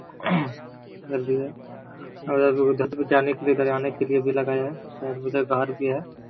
घर भी है उधर वो जाने के लिए डराने के लिए भी लगाया है। उधर घर भी है।